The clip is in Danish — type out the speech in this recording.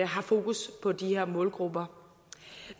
har fokus på de her målgrupper